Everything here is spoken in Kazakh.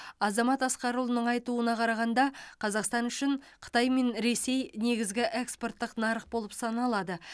азамат асқарұлының айтуына қарағанда қазақстан үшін қытай мен ресей негізгі экспорттық нарық болып саналады